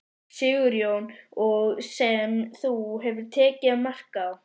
Sigurjón: Og sem þú hefur tekið mark á?